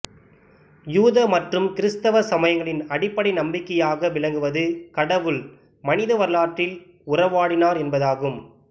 யூத மற்றும் கிறிஸ்தவ சமயங்களின் அடிப்படை நம்பிக்கையாக விளங்குவது கடவுள் மனித வரலாற்றில் உறவாடினார் என்பதாகும்